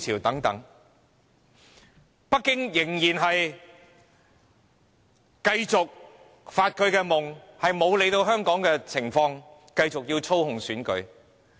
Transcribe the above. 不過，北京仍繼續發夢，不理會香港情況而繼續操控選舉。